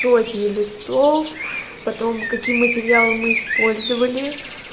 сотни листов потом каким материалом мы использовали